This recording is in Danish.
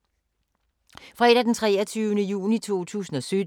Fredag d. 23. juni 2017